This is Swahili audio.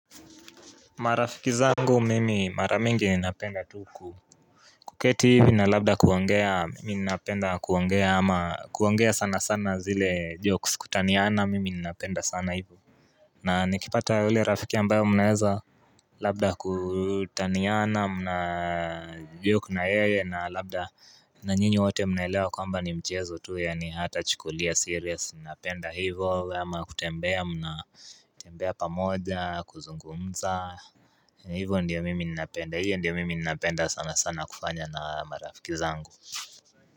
Marafikizangu mimi maramingi ninapenda tuku kuketi hivi na labda kuongea mimi ninapenda kuongea ama kuongea sana sana zile jokes kutaniyana mimi ninapenda sana hivu na nikipata hile rafiki ambayo munaeza Labda kutaniyana mna joke na yeye na labda na nyinyi wote munelewa kwamba ni mchezo tu ya ni hatachikulia serious ninapenda hivo ama kutembea mna tembea pamoja kuzungumza Ivo ndiyo mimi napenda, iyo ndiyo mimi napenda sana sana kufanya na marafikizango.